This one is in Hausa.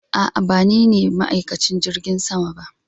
A'a ba nine ma'aikacin jirgin sama ba